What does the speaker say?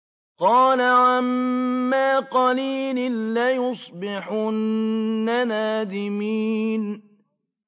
قَالَ عَمَّا قَلِيلٍ لَّيُصْبِحُنَّ نَادِمِينَ